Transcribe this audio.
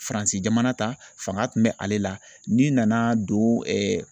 FARANSI jamana ta fanga kun bɛ ale la n'i nana don